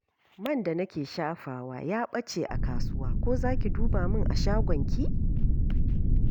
Man da nake shafawa ya ɓace a kasuwa, ko za ki duba min a shagonki?